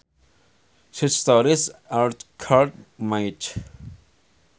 Such stories are called myths